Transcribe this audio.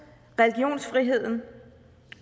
religionsfriheden